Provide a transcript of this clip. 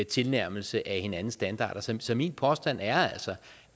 tilnærmelse af hinandens standarder så så min påstand er altså